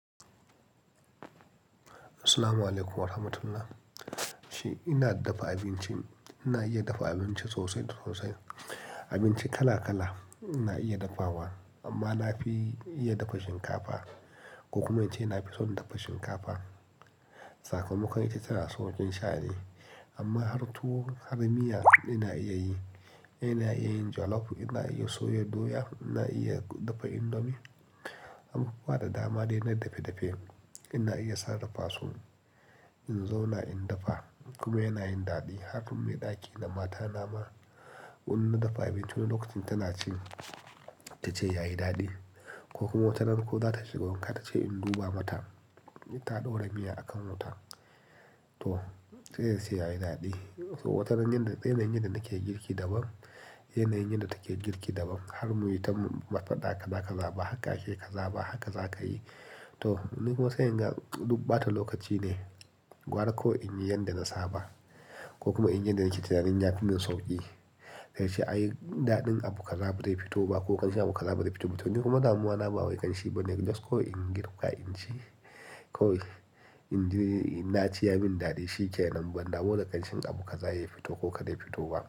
Assalamualaikum warahmatullah. Shi ina dafa abinci, ina iya dafa abinci sosai sosai. Abinci kala kala ina iya dafawa amma na fi iya dafa shinkafa. Ko kuma ice ina fi son dafa shinkafa. Sakamakon ita tana sokin sha'ni. Amma har tuwo har miya ina iya yi. Ina iya yin jalof, ina iya soya doya, ina iya dafa indomi. Abubuwa da dama dai na dafe dafe. Ina iya sarrfasu in zo na in dafa. Kuma yana yin daɗi har idan mai ɗaki na mata nama wani na dafa abinci wani lokacin tana cin, ta ce yayi daɗi ko kuma watanan ko za ta shigo wanka ta ce in duba mata, ita ta ɗora miya a kan wuta. To sai sai yayi daɗi. To wataran yanda yanayin yanda nake girki daban, yanayin yanda take girki daban. Har muyi ta mafada kada ka zaba haka ki zaba haka za ka yi. To ni kuma sai in ga dubbata lokaci ne gwara ko in yi yanda na saba ko kuma in yi yanda ita na jin ya fi min sauƙi. Sai shi ayi daɗin abu ka zaba dai fito ba ko kanshin abu ka zaba dai fito ba. To ni kuma damuwa na ba wai kanshin bane just ko in girka in ci ko in ci ina ciya min daɗi shi ke nan. Banda mu da kanshin abu ka zaya fito ko ka dai fito ba.